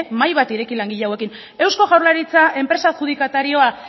mahai bat ireki langile hauekin eusko jaurlaritza enpresa adjudikatarioa